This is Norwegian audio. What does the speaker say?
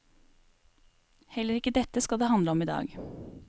Heller ikke dette skal det handle om idag.